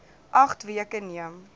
agt weke neem